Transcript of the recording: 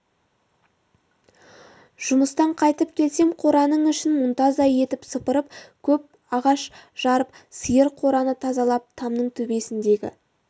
жұмыстан қайтып келсем қораның ішін мұнтаздай етіп сыпырып көп ағаш жарып сиыр қораны тазалап тамның төбесіндегі